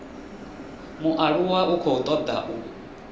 mualuwa u khou toda u